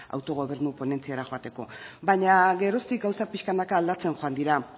autogobernu ponentziara joateko baina geroztik gauzak pixkanaka aldatzen joan dira